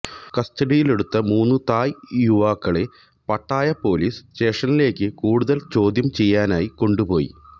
കസ്റ്റഡിയിലെടുത്ത മൂന്ന് തായ് യുവാക്കളെ പട്ടായ പൊലീസ് സ്റ്റേഷനിലേക്ക് കൂടുതല് ചോദ്യം ചെയ്യലിനായി കൊണ്ടുപോയി